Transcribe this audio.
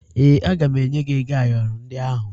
Ee, aga m enye gị ego ayọrọ ndị ahụ